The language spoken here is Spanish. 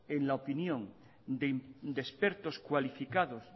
en la opinión de expertos cualificados